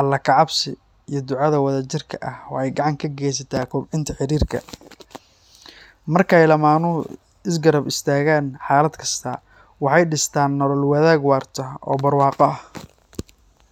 alle ka cabsi iyo ducada wadajirka ah waxay gacan ka geysataa kobcinta xiriirka. Markay lamaanuhu isla garab istaagaan xaalad kasta, waxay dhistaan nolol wadaag waarta oo barwaaqo ah